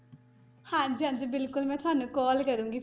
ਹਾਂਜੀ ਹਾਂਜੀ ਬਿਲਕੁਲ ਮੈਂ ਤੁਹਾਨੂੰ call ਕਰਾਂਗੀ।